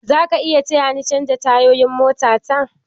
Zaka iya taya ni canja tayoyin mota ta?